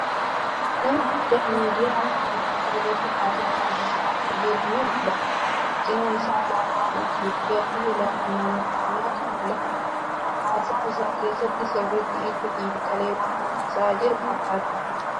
Nama guddaa miidiyyaa afaan Amaaraa irratti haasaa taasisaa akka jiru ni mul'ata. Cinaa isaa alaabaa Itiyoophiyyaa fii alaabaa naanoo Ormomiyaatu mul'ata. Haasaa isaa keessatti sirritti itti xiinxalee waan haasa'aa jiru fakkaata.